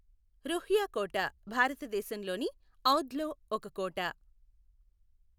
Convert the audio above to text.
రుహ్యా కోట భారతదేశంలోని ఔధ్ లో ఒక కోట.